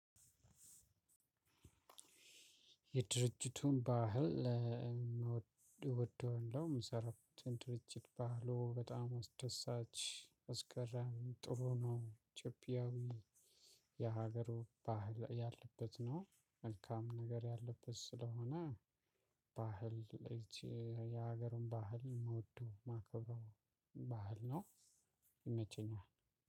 የድርጅቱን ባህል እወደዋለሁ ምሰራበት ድርጅት ባህሉ በጣም አስደሳች አስገራሚ ጥሩ ነው። ኢትዮጵያዊ የሀገሩ ባህል ያለበት ነው መልካም ነገር ያለበት ስለሆነ። ባህል የሀገሩን ባህል ምወደው ማከብረው ባህል ነው። ይመቸኛል